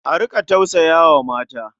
A riƙa tausaya wa mata.